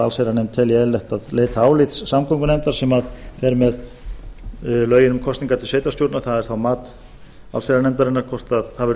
allsherjarnefnd telji eðlilegt að leita álits samgöngunefndar sem fer með lögin um kosningar til sveitarstjórna það er þá mat allsherjarnefndarinnar hvort það verður